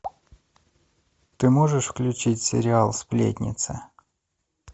ты можешь включить сериал сплетница